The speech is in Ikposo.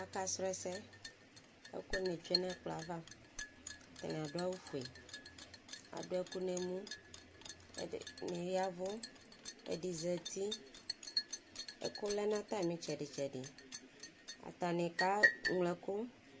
Akasɔlɔ ɛsɛ Ɛkʋni tsue nʋ ɛkplɔ ye ava Atani adu awufue, adu ɛkʋ nʋ emu Ɛdɩnɩ yavu, ɛdɩ zǝti Ɛkʋ lɛ nʋ atami ɩtsɛdɩtsɛdɩ Atani ke ŋlo ɛkʋ